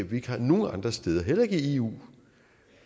vi ikke har nogen andre steder heller ikke i eu